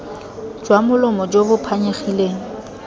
jwa molomo jo bo phanyegileng